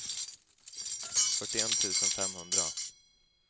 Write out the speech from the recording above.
fyrtioett tusen femhundra